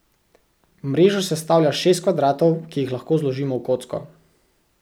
Mrežo sestavlja šest kvadratov, ki jih lahko zložimo v kocko.